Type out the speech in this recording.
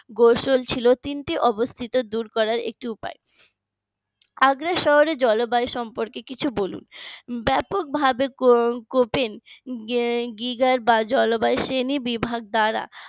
গোসল ছিল তিনটি অবস্থিত দূর করার একটি উপায় আগ্রা শহরের জলবায়ু সম্পর্কে কিছু বলুন ব্যাপকভাবে কপিন বিভাগ বা জলবায়ু শ্রেণীবিভাগ দ্বারা